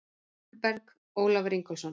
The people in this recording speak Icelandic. Jökulberg: Ólafur Ingólfsson.